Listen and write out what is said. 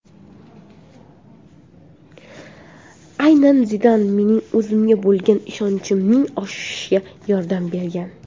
Aynan Zidan mening o‘zimga bo‘lgan ishonchimning oshishiga yordam bergan”.